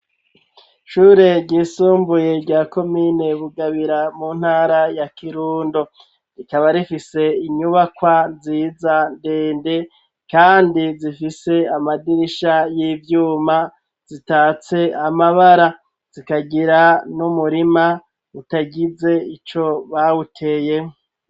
Ishure ryisumbuye rya komine bugabira mu ntara ya kirundo rikaba rifise inyubakwa nziza ndende kandi zifise amadirisha y'ivyuma, zisikeko amabara zikagira n'umurima udagise ico bawuteyeho.